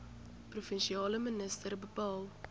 provinsiale minister bepaal